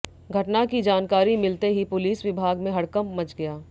घटना की जानकारी मिलते ही पुलिस विभाग में हड़कंप मच गया